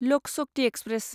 Lok Shakti express